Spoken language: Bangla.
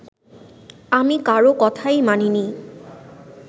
আমি কারও কথাই মানিনি